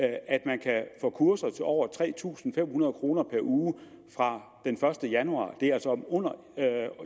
at man kan få kurser til over tre tusind fem hundrede kroner per uge fra den første januar